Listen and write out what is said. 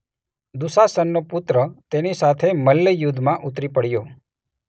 દુશાસનનો પુત્ર તેની સાથે મલ્લયુદ્ધમાં ઉતરી પડ્યો.